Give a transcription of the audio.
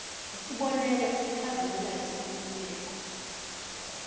yisibonelo esikhazimulayo senkululeko